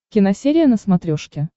киносерия на смотрешке